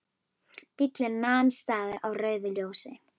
Bíllinn nam staðar á rauðu ljósi.